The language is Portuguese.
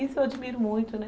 Isso eu admiro muito, né?